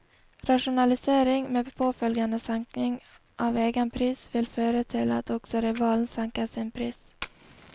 Rasjonalisering med påfølgende senkning av egen pris vil føre til at også rivalen senker sin pris.